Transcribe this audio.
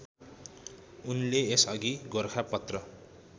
उनले यसअघि गोरखापत्र